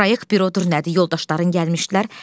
Proyekt bürodur nədir, yoldaşların gəlmişdilər.